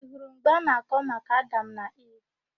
Ị hụrụ mgbe ọ na-akọ maka Adam na Iv?